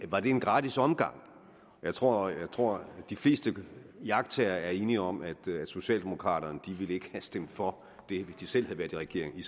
var en gratis omgang jeg tror jeg tror de fleste iagttagere er enige om at socialdemokraterne i ville have stemt for det hvis de selv havde været i regering